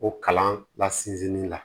O kalan la sinzin la